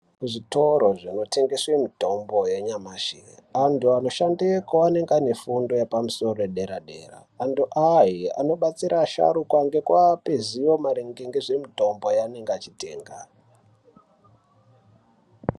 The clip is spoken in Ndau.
Kuzvitoro zvinotengeswe mitombo yenyamashi, antu anoshandeko anenge ane fundo yepamusoro yedera-dera. Antu aya anobatsira asharukwa ngekuape zivo maringe ngezvemitombo yeanenga achitenga.